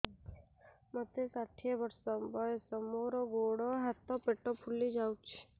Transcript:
ମୋତେ ଷାଠିଏ ବର୍ଷ ବୟସ ମୋର ଗୋଡୋ ହାତ ପେଟ ଫୁଲି ଯାଉଛି